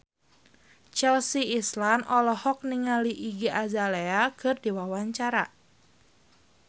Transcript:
Chelsea Islan olohok ningali Iggy Azalea keur diwawancara